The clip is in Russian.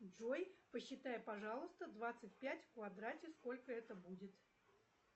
джой посчитай пожалуйста двадцать пять в квадрате сколько это будет